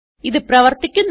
ഇത് പ്രവർത്തിക്കുന്നു